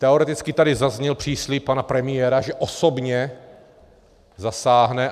Teoreticky tady zazněl příslib pana premiéra, že osobně zasáhne.